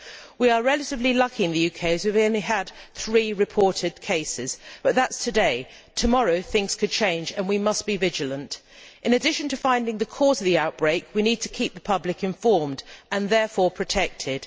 We are relatively lucky in the UK to have had only three reported cases, but that is today tomorrow, things could change, and we must be vigilant. In addition to finding the cause of the outbreak, we need to keep the public informed and therefore protected.